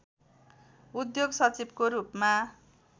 उद्योग सचिवको रूपमा